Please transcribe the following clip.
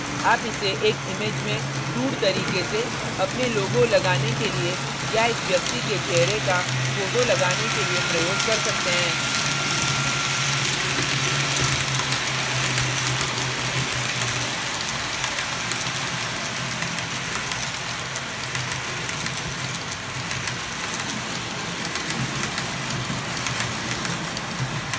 आप इसे एक image में crude तरीके से अपने logos लगाने के लिए या एक व्यक्ति के चेहरे का फोटो लगाने के लिए प्रयोग कर सकते हैं